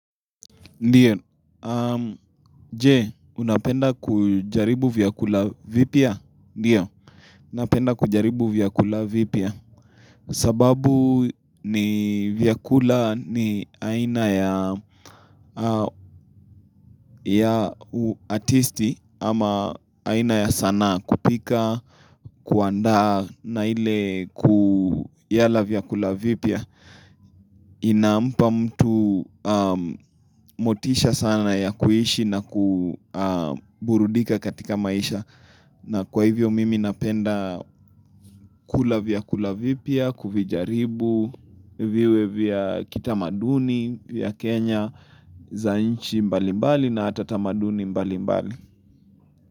Ndiyo. Je, unapenda kujaribu vyakula vipya? Ndiyo, unapenda kujaribu vyakula vipia. Sababu ni vyakula ni aina ya artisti ama aina ya sana kupika, kuanda na ile kuyala vyakula vipya. Inampa mtu motisha sana ya kuishi na kuburudika katika maisha na kwa hivyo mimi napenda kula vya kulavipya, kuvijaribu, viwe vya kitamaduni, vya Kenya, zanchi mbalimbali na hata tamaduni mbalimbali.